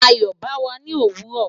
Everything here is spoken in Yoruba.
Ayo ba wa ni owuro